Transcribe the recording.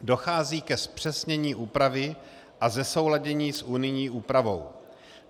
Dochází ke zpřesnění úpravy a zesouladění s unijní úpravou.